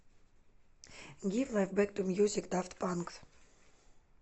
гив лайф бэк ту мьюзик дафт панк